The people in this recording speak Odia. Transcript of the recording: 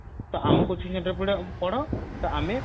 ତ ଆମ coaching centre ରେ ପଢ ତ ଆମେ